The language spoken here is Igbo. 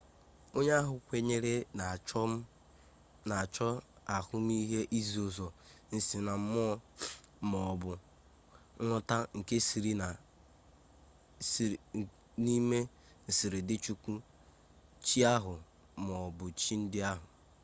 onye ahụ kwenyere na-achọ ahụmihe izi ụzọ nsinammụọ ma ọ bụ nghọta n’ime nsiridị chukwu/chi ahụ ma ọ bụ chi ndị ahụ